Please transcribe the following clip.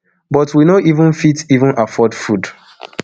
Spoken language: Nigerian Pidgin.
but we no even fit even afford food